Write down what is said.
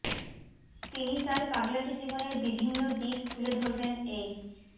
তিনি তার পাগলাটে জীবনের বিভিন্ন দিক তুলে ধরবেন এই